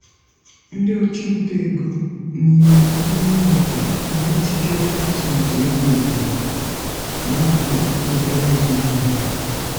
ndị ọchụnta ego n’ime ime obodo na-ejikarị atụmatụ ego obodo na-akwado obere azụmahịa.